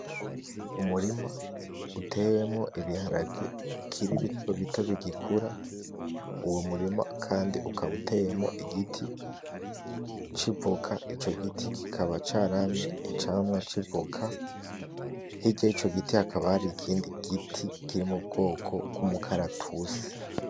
Umurima uteyemwo Ibiharage bikiri bitobito bigikura uwo murima Kandi ukaba uteyemwo Igiti c'ivoka, Ico giti kikaba caramye icamwa c'ivoka hirya yico giti hakaba hari ikindi giti kiri m'ubwoko bw'umukaratusi.